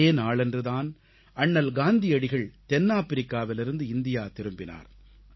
இதே நாளன்று தான் அண்ணல் காந்தியடிகள் தென்னாப்பிரிக்காவிலிருந்து இந்தியா திரும்பினார்